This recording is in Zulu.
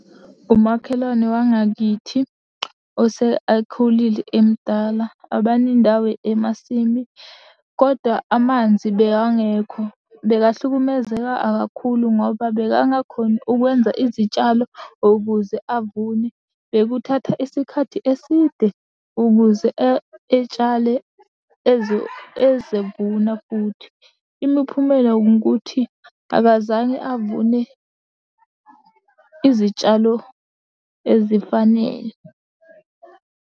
Umakhelwane wangakithi ose akhulile emdala abanendawo emasimi kodwa amanzi bekangekho bekahlukumezeka kakhulu ngoba bekanga khoni ukwenza izitshalo ukuze avune. Bekuthakatha isikhathi eside ukuze etshale ezevuna futhi. Imiphumela wungukuthi abazange avune izitshalo ezifanele.